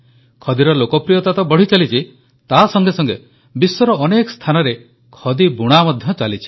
ଖଦିର ଲୋକପ୍ରିୟତା ତ ବଢ଼ିଚାଲିଛି ତା ସଙ୍ଗେ ସଙ୍ଗେ ବିଶ୍ୱର ଅନେକ ସ୍ଥାନରେ ଖଦି ବୁଣା ମଧ୍ୟ ଚାଲିଛି